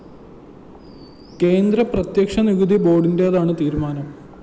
കേന്ദ്ര പ്രത്യക്ഷ നികുതി ബോര്‍ഡിന്റേതാണ് തീരുമാനം